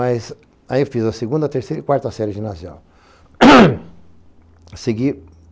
Aí eu fiz a segunda, a terceira e a quarta série de ginasial. segui